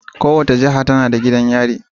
Kowace jiha tana da gidan yari.